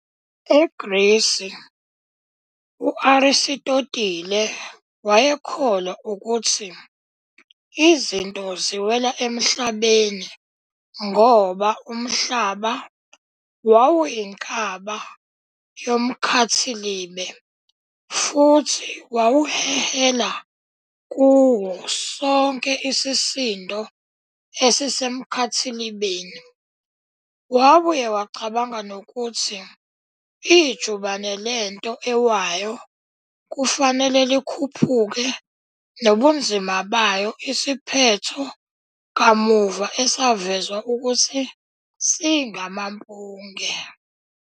EGrisi, u- Arisitotile wayekholwa ukuthi izinto ziwela eMhlabeni ngoba uMhlaba wawuyinkaba yomkhathilibe futhi wawuhehela kuwo sonke isisindo esisemkhathilibeni. Wabuye wacabanga nokuthi ijubane lento ewayo kufanele likhuphuke nobunzima bayo, isiphetho kamuva esavezwa ukuthi singamampunge.